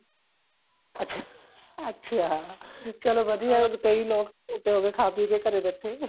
ਅੱਛਾ ਅੱਛਾ ਚਲੋ ਵਧੀਆ ਏ ਕਈ ਲੋਕ ਮੋਟੇ ਹੋਗੇ ਖਾਹ ਪੀਹ ਕੇ ਘਰੇ ਬੈਠੇ